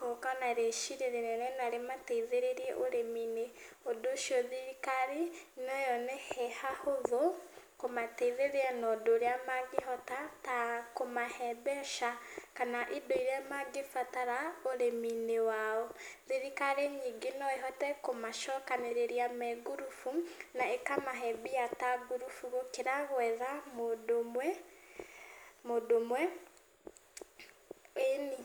gũka na riciria rĩnene na rĩmateithĩrĩrie ũrĩmi-inĩ, ũndũ ũcio thirikari no yone he hahũthũ kũmateithĩria na ũndũ ũrĩa mangĩhota ta kũmahe mbeca kana indo irĩa mangĩbatara ũrĩmi-inĩ wao. Thirikari ningĩ no ĩhote kũmacokanĩrĩria me ngurubu na ĩkamahe mbia ta ngurubu, gũkĩra gwetha mũndũ ũmwe, mũndũ ũmwe, ĩni.